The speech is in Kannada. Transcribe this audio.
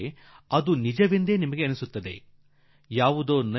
ಮೇಲ್ನೋಟಕ್ಕೆ ಅದು ನಿಮಗೆ ಸರಿ ಎಂದು ಅನ್ನಿಸಿಬಿಡುವಷ್ಟು ಸಹಜವಾಗಿರುತ್ತದೆ